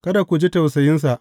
Kada ku ji tausayinsa.